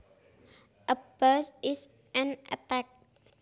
A bash is an attack